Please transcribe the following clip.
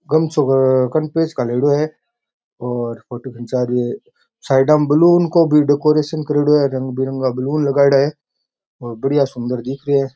गमछाे है कने पेच गालेडो है और फोटो खींचा रहा है साइडा में बैलून काे भी डेकोरेशन करेडो है रंग बिरंगा बैलून लगायेदा है और बढ़िया सुन्दर दिख रेहा है।